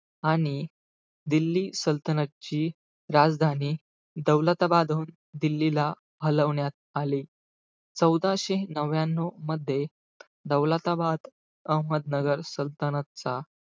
आणि दिल्ली सल्तनतची राजधानी, दौलताबादऊन दिल्लीला हलवण्यात आली. चौदाशे नव्याणव मध्ये, दौलताबाद, अहमहदनगर सल्तनतचा,